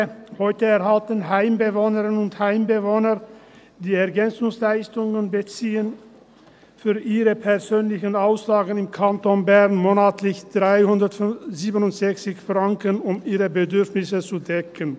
Heute erhalten Heimbewohnerinnen und Heimbewohner, die Ergänzungsleistungen beziehen, für ihre persönlichen Auslagen im Kanton Bern monatlich 367 Franken, um ihre Bedürfnisse zu decken.